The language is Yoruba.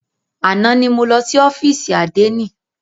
Àná ni mo lọ sí ófìsì àdénì.